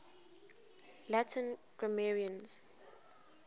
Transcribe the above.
latin grammarians